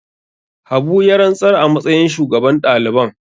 Habu ya rantsar a matsayin shugaban daliban.